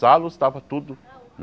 Salos, estava tudo.